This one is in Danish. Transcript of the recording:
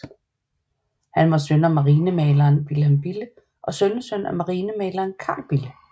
Han var søn af marinemaleren Vilhelm Bille og sønnesøn af marinemaleren Carl Bille